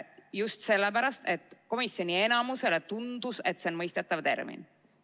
Just sellepärast, et komisjoni enamusele tundus, et see on mõistetav termin.